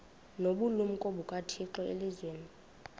nobulumko bukathixo elizwini